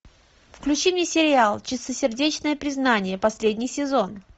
включи мне сериал чистосердечное признание последний сезон